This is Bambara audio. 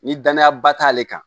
Ni danayaba t'ale kan